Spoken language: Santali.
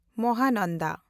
ᱢᱟᱦᱟᱱᱟᱱᱰᱟ